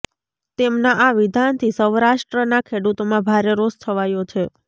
તેમના આ વિધાનથી સૌરાષ્ટ્રના ખેડૂતોમાં ભારે રોષ છવાયો છે